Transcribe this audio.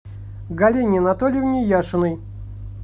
галине анатольевне яшиной